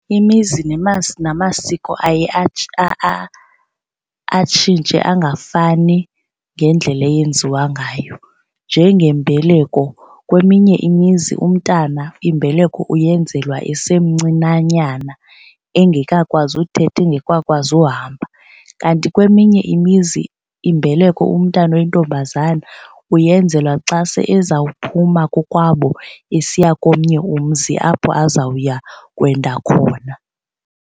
Imizi namasiko aye atshintshe angafani ngendlela eyenziwa ngayo. Njengembeleko kweminye imizi umntana imbeleko uyenzelwa esemncinanyana engekakwazi uthetha engekakwazi uhamba. Kanti kweminye imizi imbeleko umntana oyintombazana uyenzelwa xa se ezawuphuma kokwabo esiya komnye umzi apho azawuya kwenda khona.